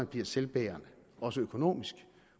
bliver selvbærende også økonomisk